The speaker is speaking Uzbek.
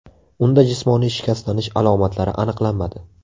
Unda jismoniy shikastlanish alomatlari aniqlanmadi.